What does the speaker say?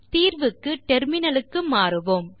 தீர்வுக்கு டெர்மினலுக்கு மாறுவோம்